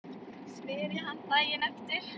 spyr ég hann daginn eftir.